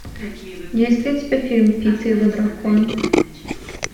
есть ли у тебя фильм пит и его дракон